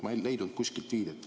Ma ei leidnud kuskilt viidet.